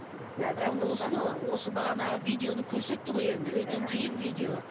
иә сондықтан осыны осы бағанағы видеоны көрсетті ғой енді өте қиын видео